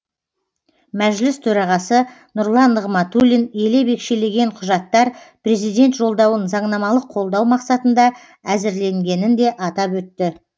мәжіліс төрағасы нұрлан нығматулин елеп екшелген құжаттар президент жолдауын заңнамалық қолдау мақсатында әзірленгенін де атап өтті